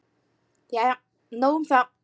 Jæja, nóg um það.